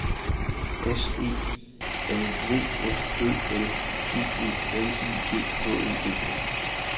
S E L V F Ø L G E L I G H E D